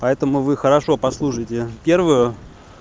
поэтому вы хорошо послушайте первую